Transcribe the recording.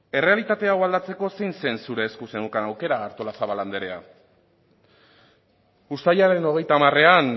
errealitate hau aldatzeko zein zen zure esku zeneukan aukera artolazabal anderea uztailaren hogeita hamarean